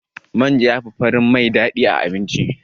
Manja yafi farin mai daɗi a abinci.